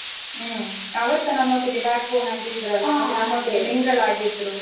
ಹ್ಮ್ ಅವರ್ಸಾ ನಮ್ಮೊಟ್ಟಿಗೆ backbone ಆಗಿದ್ರಲ್ಲಾ ಮತ್ತೆ ನಮ್ಮೊಟ್ಟಿಗೆ mingle ಅಗಿದ್ರು.